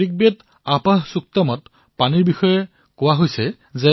ঋগবেগৰ আপঃ সুক্তমত পানীৰ বিষয়ে কোৱা হৈছেঃ